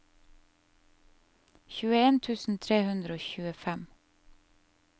tjueen tusen tre hundre og tjuefem